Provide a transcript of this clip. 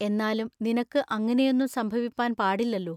എന്നാലും നിനക്കു അങ്ങിനെയൊന്നും സംഭവിപ്പാൻ പാടില്ലല്ലോ.